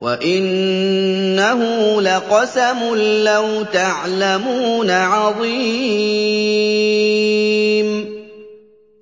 وَإِنَّهُ لَقَسَمٌ لَّوْ تَعْلَمُونَ عَظِيمٌ